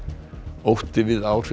ótti við áhrif